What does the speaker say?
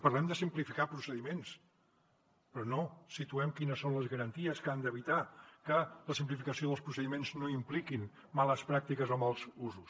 parlem de simplificar procediments però no situem quines són les garanties que han d’evitar que la simplificació dels procediments no impliquin males pràctiques o mals usos